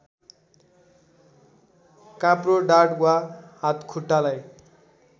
काप्रो ढाड वा हातखुट्टालाई